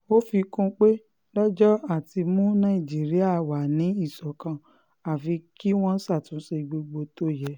ó fi kún un pé lọ́jọ́ àti mú nàìjíríà wà ní ìṣọ̀kan àfi kí wọ́n ṣàtúnṣe gbogbo tó yẹ